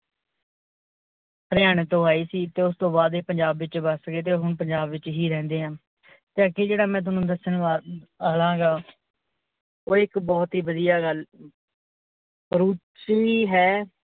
ਹਰਿਆਣੇ ਤੋਂ ਆਏ ਸੀ ਤੇ ਉਸ ਤੋਂ ਬਾਦ ਇਹ ਪੰਜਾਬ ਵਿੱਚ ਬਸ ਗਿਏ ਤੇ ਹੁਣ ਪੰਜਾਬ ਵਿੱਚ ਹੀ ਰਹਿੰਦੇ ਹਨ, ਤੇ ਅੱਗੇ ਜੇਹੜਾ ਦੱਸਣ ਚਾਵਾਂਗਾ ਓਹ ਇੱਕ ਬਹੁਤ ਹੀ ਵਧੀਆ ਗੱਲ ਪਰੂਸੀ ਹੈ।